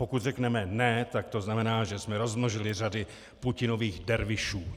Pokud řekneme ne, tak to znamená, že jsme rozmnožili řady Putinových dervišů.